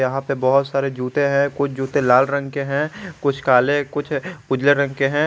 यहां पे बहुत सारे जूते हैं कुछ जूते लाल रंग के हैं कुछ काले कुछ उजले रंग के हैं।